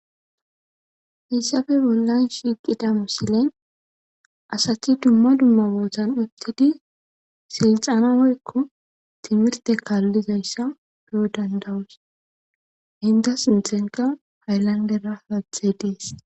Hissafe bollan shiiqida misile asati dumma dumma bootan uttidi silxana woykko timirte kaallizayssa po dandawus hinda sintanikka hayalandera haattay dees.